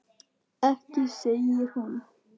Ekki segir hún.